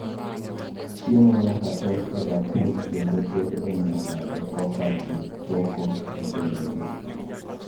Chiemo nyaka tok e bakul, kendo ter e mesa e koka ji toko e sende gi